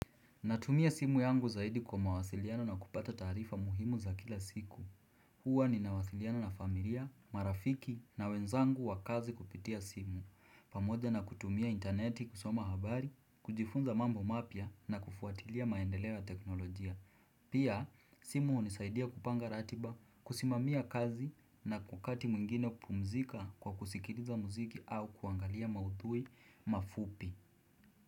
Natumia simu yangu zaidi kwa mawasiliano na kupata taarifa muhimu za kila siku. Huwa ninawasiliano na familia, marafiki na wenzangu wa kazi kupitia simu. Pamoja na kutumia interneti kusoma habari, kujifunza mambo mapya na kufuatilia maendeleo ya teknolojia. Pia, simu hunisaidia kupanga ratiba, kusimamia kazi na kwa wakati mwingine kupumzika kwa kusikiliza muziki au kuangalia mauthui mafupi.